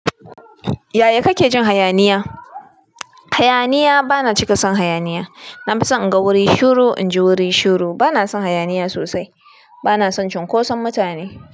Yaya kake jin hayaniya? Hayaniya, bana cika son hayaniya. Na fi son in ga wuri shuru, in ji wuri shuru. Bana son hayaniya sosai. Bana son cunkoson mutane.